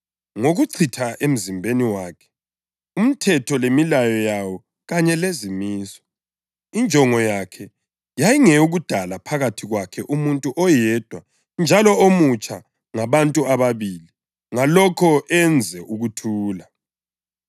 ngokuchitha emzimbeni wakhe umthetho lemilayo yawo kanye lezimiso. Injongo yakhe yayingeyokudala phakathi kwakhe umuntu oyedwa njalo omutsha ngabantu ababili, ngalokho enze ukuthula,